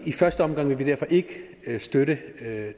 første omgang vil vi derfor ikke støtte